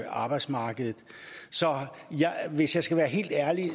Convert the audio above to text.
arbejdsmarkedet så hvis jeg skal være helt ærlig